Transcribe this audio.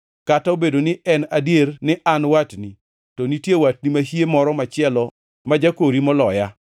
Kata obedo ni en adier ni an watni, to nitie watni mahie moro machielo ma jakori moloya.